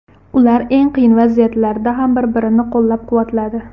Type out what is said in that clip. Ular eng qiyin vaziyatlarda ham bir-birini qo‘llab-quvvatladi.